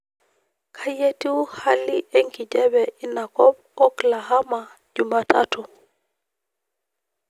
kai etiuu halii enkijape inakop oklahama jumatatu